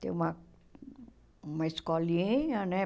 Tem uma uma escolinha, né?